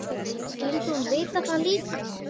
Skyldi hún vita það líka?